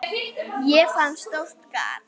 Ég fann stórt gat.